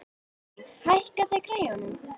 Viglín, hækkaðu í græjunum.